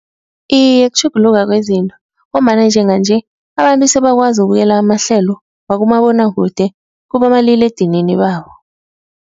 Iye kutjhuguluka kwezinto ngombana njenganje abantu sebakwazi ukubukela amahlelo wakumabonwakude kubomaliledinini babo.